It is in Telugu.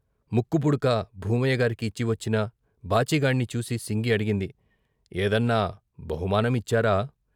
ముక్కు పుడక భూమయ్యగారికి ఇచ్చి వచ్చిన బాచీగాణ్ణి చూసి సింగి అడిగింది " ఏదన్నా బహుమానం ఇచ్చారా?